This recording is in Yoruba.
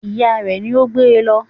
Ìya rẹ̀ ni ó gbé e lọ